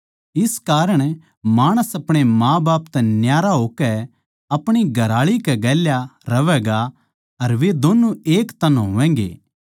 इस कारण माणस अपणे माँबाप तै न्यारा होकै अपणी घरआळी कै गेल्या रहैगा अर वे दोन्नु एक तन होवैगें